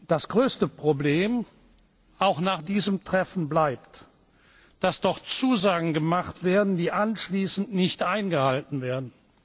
Das größte Problem auch nach diesem Treffen bleibt, dass dort Zusagen gemacht werden, die anschließend nicht eingehalten werden.